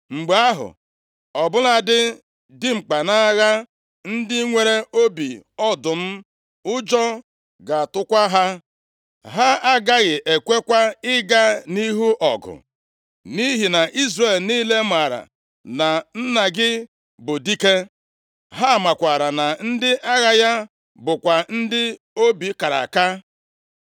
Mgbe ahụ, ọ bụladị dimkpa nʼagha ndị nwere obi ọdụm, ụjọ ga-atụkwa ha. Ha agaghị ekwekwa ịga nʼihu ọgụ. Nʼihi na Izrel niile maara na nna gị bụ dike. Ha maakwara na ndị agha ya bụkwa ndị obi kara aka.